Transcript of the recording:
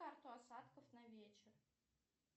карту осадков на вечер